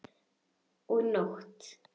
Og nóttum!